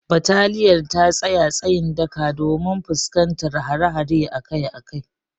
Bataliyar ta tsaya tsayin daka domin fuskantar hare-hare akai akai.